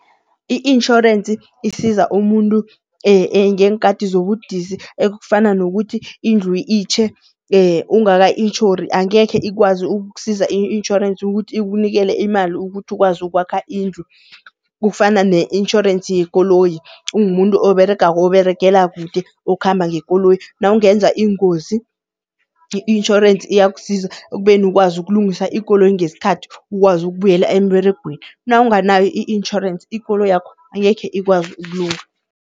I-insurance isiza umuntu ngeenkati zobudisi ekufana nokuthi indlu itjhe ungaka-intjhori angekhe ikwazi ukukusiza i-insurance ukuthi ikunikele imali ukuthi ukwazi ukwakha indlu. Kufana ne-insurance yekoloyi, ungumuntu oberegako oberegela kude okhamba ngekoloyi, nawungenza ingozi i-insurance iyakusiza ekubeni ukwazi ukulungisa ikoloyi ngesikhathi, ukwazi ukubuyela emberegweni. Nawunganayo i-insurance ikoloyakho angekhe ikwazi ukulunga.